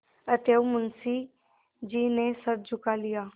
अतएव मुंशी जी ने सिर झुका लिया